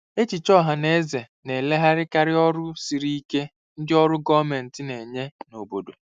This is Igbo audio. Echiche ọha na eze na-elegharakarị ọrụ siri ike ndị ọrụ gọọmentị na-enye n'obodo.